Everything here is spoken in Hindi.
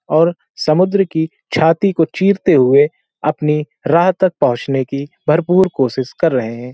और समुद्र की छाती को चीरते हुए अपनी राह तक पहुँचने की भरपूर कोशिश कर रहे हैं ।